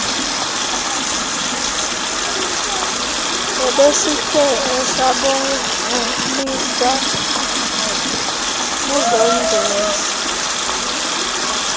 ebesikhe asabhaliswa ezongeza